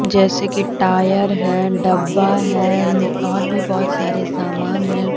जैसे कि टायर है डब्बा है और भी बहोत सारे सामान हैं ।